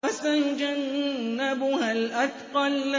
وَسَيُجَنَّبُهَا الْأَتْقَى